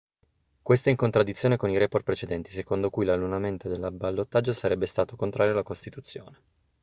questo è in contraddizione con i report precedenti secondo cui l'annullamento del ballottaggio sarebbe stato contrario alla costituzione